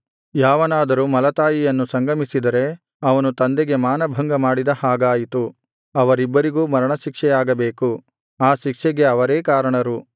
ಯಾವನಾದರೂ ಮಲತಾಯಿಯನ್ನು ಸಂಗಮಿಸಿದರೆ ಅವನು ತಂದೆಗೆ ಮಾನಭಂಗಮಾಡಿದ ಹಾಗಾಯಿತು ಅವರಿಬ್ಬರಿಗೂ ಮರಣಶಿಕ್ಷೆಯಾಗಬೇಕು ಆ ಶಿಕ್ಷೆಗೆ ಅವರೇ ಕಾರಣರು